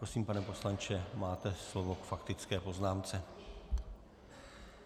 Prosím, pane poslanče, máte slovo k faktické poznámce.